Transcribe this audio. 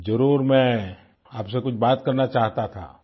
जरुर मैं आपसे कुछ बात करना चाहता था